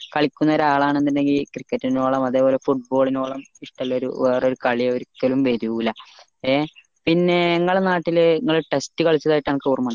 കളിക്കുന്നൊരാളാന്നുണ്ടെങ്കിൽ cricket എന്നോളം football ളിനോളം ഇഷ്ടയുള്ളോരു കളി ഒരിക്കലും വരൂല ഏഹ് പിന്നെ ഇങ്ങള നാട്ടിൽ ഇങ്ങള് test കാലിച്ചതായിട്ട് അനക്ക് ഓർമ്മയുണ്ടോ